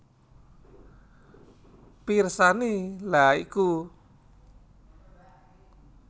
Pirsani lha iku